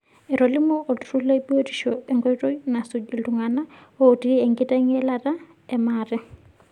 Etolimuo olturur le biotisho enkoitoi nasuji iltungana otii enkiteng'elata e maate.